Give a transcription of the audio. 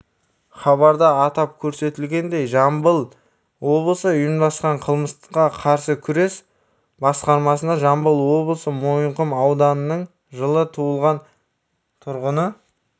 хабарда атап көрсетілгендей жамбыл облысы ұйымдасқан қылмысқа қарсы күрес басқармасынажамбыл облысы мойынқұм ауданының жылы туылған тұрғыны